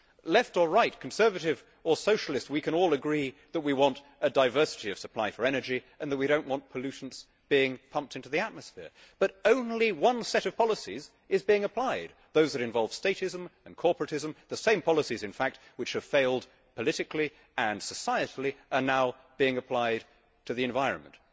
Left or Right, Conservative or Socialist, we can all agree that we want a diversity of supply for energy, and that we do not want pollutants being pumped into the atmosphere, but only one set of policies is being applied those that involve statism and corporatism the same policies, in fact, which have failed politically and societally are now being applied to the environment.